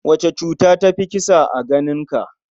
Wace cuta ta fi kisa a ganinka?